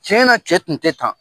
Tiɲɛnna cɛ tun tɛ kan